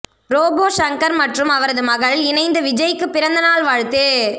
robot Shankar மற்றும் அவரது மகள் இணைந்து விஜய்க்கு பிறந்த நாள் வாழ்த்து